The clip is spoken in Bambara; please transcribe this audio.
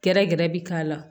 Gɛrɛ gɛrɛ bɛ k'a la